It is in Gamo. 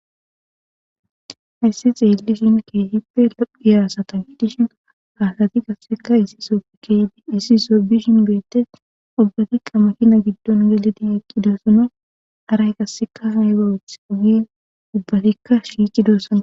hayssi ta xeellishin keehipe lo7iya asata gidishin ha asati qasseka issife issi soho bishin beettes ubbatikka makina giddon gelidi eqqidossona haray qasseka ayiba othizo giiddi ubbatikka shiiqidoosana